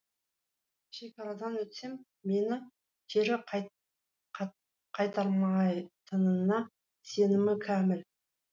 шекарадан өтсем мені кері қайтармайтынына сенімім кәміл